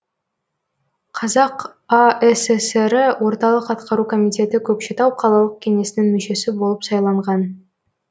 қазақ асср і орталық атқару комитеті көкшетау қалалық кеңесінің мүшесі болып сайланған